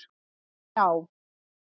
Gná